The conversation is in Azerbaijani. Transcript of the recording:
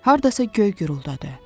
Hardasa göy guruldadı.